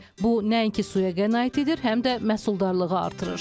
Bu nəinki suya qənaət edir, həm də məhsuldarlığı artırır.